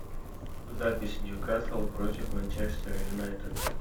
запись ньюкасл против манчестер юнайтед